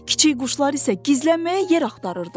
Kiçik quşlar isə gizlənməyə yer axtarırdı.